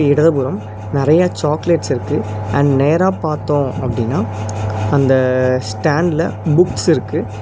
இடது புறம் நறைய சாக்லேட்ஸ் இருக்கு அண்ட் நேரா பாத்தோ அப்டினா அந்த ஸ்டேண்ட்ல புக்ஸ் இருக்கு.